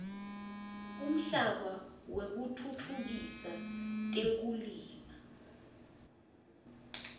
umhlaba wekutfutfukisa tekulima